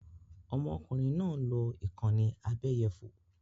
Ọmọkùnrin náà ń lò ìkànnì abẹ́yẹfò